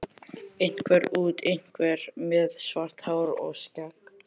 Einhver út, einhver með svart hár og skegg.